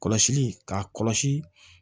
Kɔlɔsili k'a kɔlɔsi